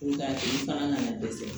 Nka ni bagan nana dɛsɛ